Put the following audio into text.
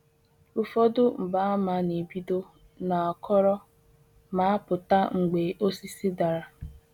Ụfọdụ Ihe mgbaàmà na-ebido na mgbọrọgwụ, mgbọrọgwụ, ha anaghị apụta ihe ruo mgbe osisi dara.